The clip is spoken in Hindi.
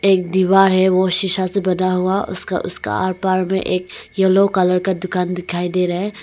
एक दीवार है वो शीशा से बना हुआ उसका उसका आर पर में एक यलो कलर का दुकान दिखाई दे रहा है।